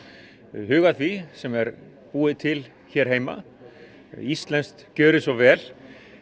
huga að því sem er búið til hér heima íslenskt gjörið svo vel